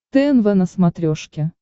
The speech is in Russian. тнв на смотрешке